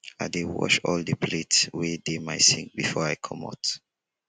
i dey wash all di plate wey dey my sink before i comot.